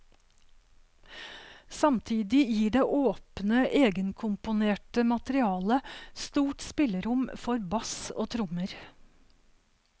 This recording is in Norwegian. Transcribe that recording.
Samtidig gir det åpne egenkomponerte materialet stort spillerom for bass og trommer.